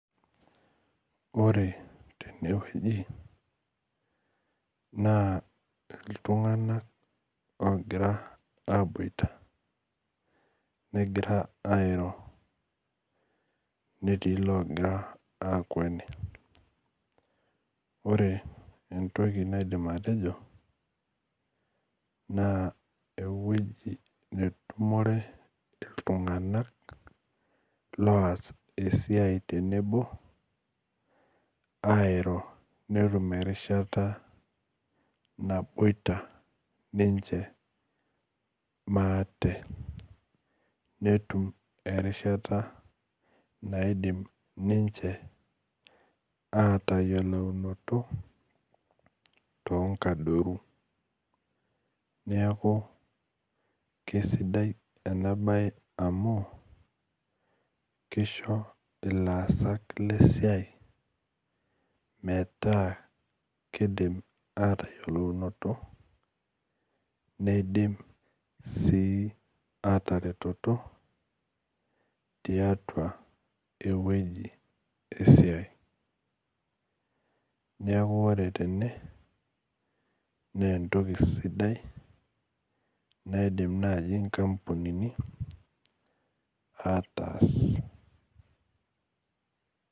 Ore tenewueji na ltunganak ogira aboita negira airo netii logira akweni ore entoki naidim atejo na eweuji natumorw ltunganak oas esiai nabo airo netum erishata naboita ninche maate netum erishata naidim ninche atayioloroto ,neaku kesidai enabae amu kisho ilaasak lesiai metaa kidim atayioloroto nidim si ataretoto tiatua ewoi esia neaku ore tene na entoki sidai naidim nai i kampunini ataas.